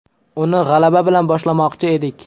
Uni g‘alaba bilan boshlamoqchi edik.